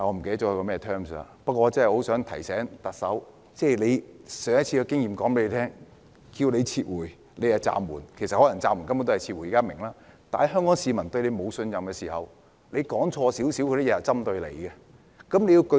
不過我很想提醒特首，上一次的經驗告訴她，大家要她"撤回"時她卻用"暫緩"，雖然現在大家明白暫緩根本是撤回，但當香港市民對她失去信任時，她說錯少許也會被針對。